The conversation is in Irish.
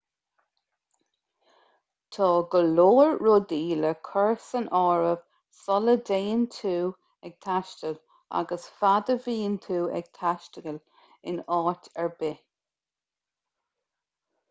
tá go leor rudaí le cur san áireamh sula dtéann tú ag taisteal agus fad a bhíonn tú ag taisteal in áit ar bith